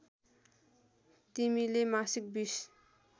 तिमीले मासिक २०